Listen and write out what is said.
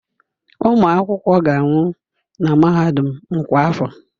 Ụmụ akwụkwọ ga-anwụ na mahadum m kwa afọ.